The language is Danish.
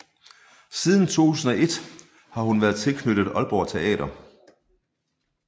Siden 2001 har hun været tilknyttet Aalborg Teater